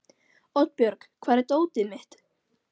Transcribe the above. Oddbjörg, hvar er dótið mitt?